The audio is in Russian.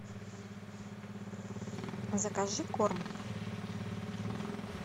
закажи корм